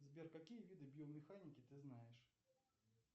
сбер какие виды биомеханики ты знаешь